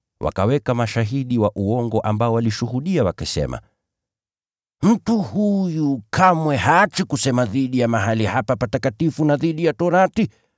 Wakaweka mashahidi wa uongo ambao walishuhudia wakisema, “Mtu huyu kamwe haachi kusema dhidi ya mahali hapa patakatifu na dhidi ya Sheria.